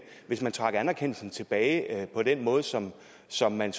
hvis man trak anerkendelsen tilbage på den måde som som man